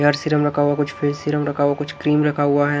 Serum रखा हुआ कुछ फेस सीरम रखा हुआ कुछ क्रीम रखा हुआ है।